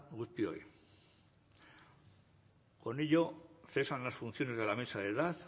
guztioi con ello cesan las funciones de la mesa de edad